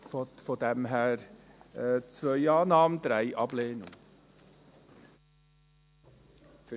Von daher: Ziffer 2 Annahme, Ziffer 3 Ablehnung.